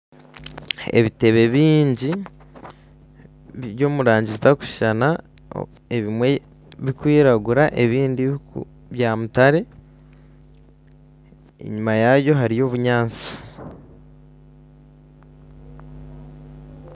Ebitebe bingi biri omu rangi zitarikushushana ebimwe birikwiragura bya mutare enyuma yaayo hariyo obunyatsi